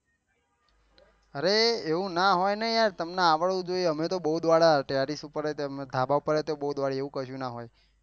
અરે એવું ના હોય ને તમને આવડું જોયીયે ને અમે તો બહુ ડોડીયા ટેરેસ ઉપર ધાભા ઉપર એ તો બહુ દોડીએ એવી કશું ના હોય